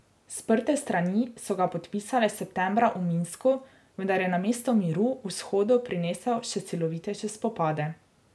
Sprte strani so ga podpisale septembra v Minsku, vendar je namesto miru vzhodu prinesel še silovitejše spopade.